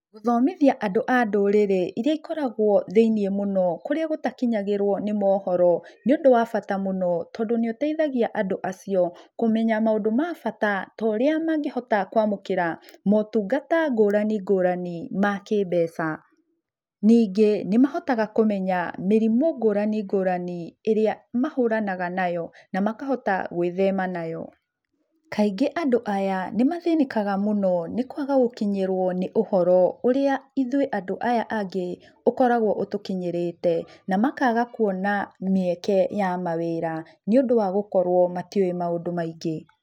Gũthomithia andũ a ndũrĩrĩ iria ikoragwo thĩiniĩ mũno kũrĩa gũtakinyagĩrwo nĩ moohoro nĩũndũ wa bata mũno tondũ nĩũteithagia andũ acio kũmenya maũndũ ma bata ta ũrĩa mangĩhota kwamũkĩra maũtungata ngũrani ma kĩmbeca. Ningĩ, nĩmahotaga kũmenya mĩrimũ ngũrani ngũrani ĩrĩa mahũranaga nayo na makahota gwĩthema nayo. kaingĩ andũ aya nĩmathĩnĩkaga mũno nĩkwaga gũkinyĩrwo nĩ ũhoro ũrĩa ithuĩ andũ aya angĩ ũkoragwo ũtũkinyĩrĩte, na makaga kuona mĩeke ya mawĩra nĩũndũ wa gũkorwo matiũĩ maũndũ maingĩ.